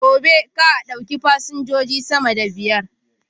Gobe, kar a ɗauki fasinjoji sama da biyar!